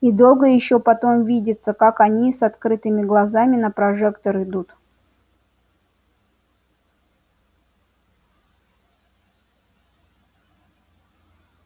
и долго ещё потом видится как они с открытыми глазами на прожектор идут